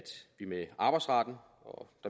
arbejdsretten